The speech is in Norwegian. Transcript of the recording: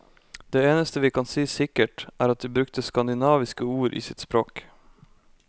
Det eneste vi kan si sikkert, er at de brukte skandinaviske ord i sitt språk.